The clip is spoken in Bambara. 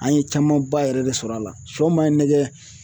An ye camanba yɛrɛ de sɔrɔ a la siyɔ maa ye nɛgɛ.